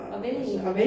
Og vælge en